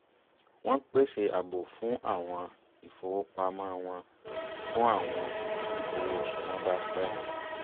wọ́n pèsè àbò fún àwọ̀n ìfowópamọ́ wọn fún àwọn oṣù tí owó oṣù wọn bá pẹ́